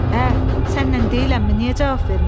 Ə, sənlə deyiləmmi, niyə cavab vermirsən?